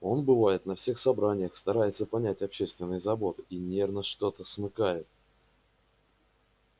он бывает на всех собраниях старается понять общественные заботы и наверно что-то смыкает